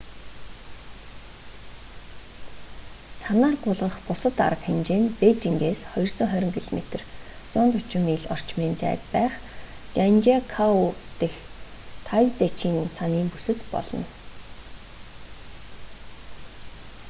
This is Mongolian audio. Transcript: цанаар гулгах бусад арга хэмжээ нь бээжингээс 220 км 140 миль орчмын зайд байх жанжиакоу дэх тайзиченг цанын бүсэд болно